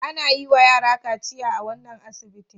Ana yiwa yara kaciya a wannan asibitin.